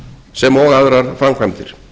sem og aðrar framkvæmdir